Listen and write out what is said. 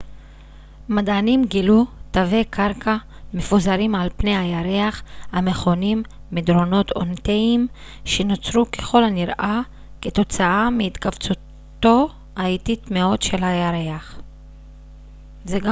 מדענים גילו תווי קרקע מפוזרים על פני הירח המכונים מדרונות אונתיים שנוצרו ככל הנראה כתוצאה מהתכווצותו האיטית מאוד של הירח